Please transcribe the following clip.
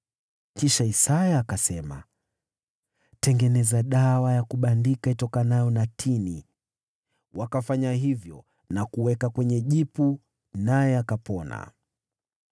Kisha Isaya akasema, “Tengenezeni dawa ya kubandika ya tini.” Wakafanya hivyo na kuiweka kwenye jipu, naye akapona.